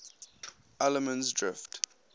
allemansdrift